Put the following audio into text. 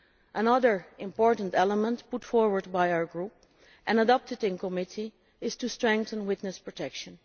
Another important element put forward by our group and adopted in committee concerns better witness protection.